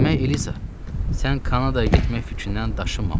Demək, Eliza, sən Kanadaya getmək fikrindən daşınmamısan.